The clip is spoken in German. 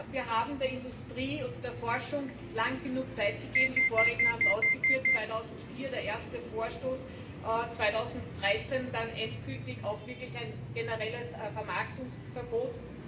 Wir haben der Industrie und der Forschung lange genug Zeit gegeben die Vorredner haben es ausgeführt 2004 der erste Vorstoß, 2013 dann endgültig auch wirklich ein generelles Vermarktungsverbot.